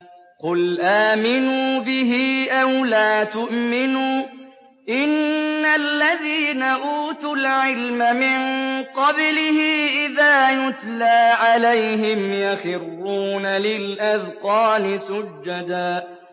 قُلْ آمِنُوا بِهِ أَوْ لَا تُؤْمِنُوا ۚ إِنَّ الَّذِينَ أُوتُوا الْعِلْمَ مِن قَبْلِهِ إِذَا يُتْلَىٰ عَلَيْهِمْ يَخِرُّونَ لِلْأَذْقَانِ سُجَّدًا